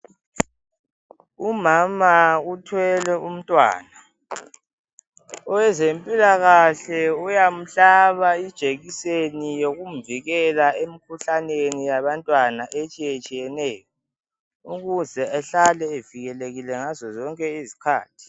Umama uthwele umntwana. Owezempilakahle uyamhlaba ijekiseni yokumvikela emkhuhlaneni yabantwana etshiyetshiyeneyo, ukuze ehlale evikelekile ngazo zonke izikhathi.